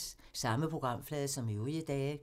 Samme programflade som øvrige dage